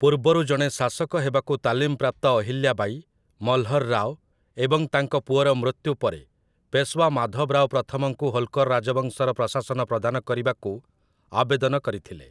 ପୂର୍ବରୁ ଜଣେ ଶାସକ ହେବାକୁ ତାଲିମ ପ୍ରାପ୍ତ ଅହିଲ୍ୟା ବାଇ, ମଲ୍‌ହର୍ ରାଓ ଏବଂ ତାଙ୍କ ପୁଅର ମୃତ୍ୟୁ ପରେ, ପେଶୱା ମାଧବ ରାଓ ପ୍ରଥମଙ୍କୁ ହୋଲ୍କର୍ ରାଜବଂଶର ପ୍ରଶାସନ ପ୍ରଦାନ କରିବାକୁ ଆବେଦନ କରିଥିଲେ ।